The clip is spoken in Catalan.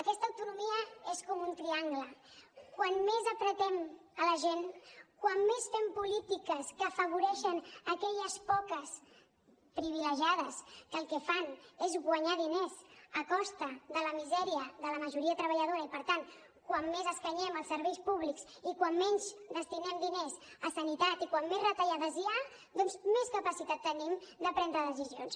aquesta autonomia és com un triangle quan més apretem la gent quan més fem polítiques que afavoreixen aquelles poques privilegiades que el que fan és guanyar diners a costa de la misèria de la majoria treballadora i per tant quan més escanyem els serveis públics i quan menys destinem diners a sanitat i quan més retallades hi ha doncs més capacitat tenim de prendre decisions